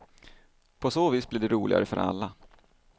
På så vis blir det roligare för alla.